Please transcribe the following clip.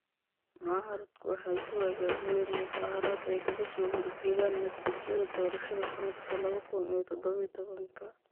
Mucaaradku waxay soo abaabuleen mudaaharaad ay kaga soo horjeedaan natiijada doorashada sanadka laba kun iyo todoba iyo tobanka.